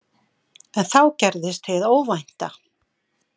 En þá gerðist hið óvænta.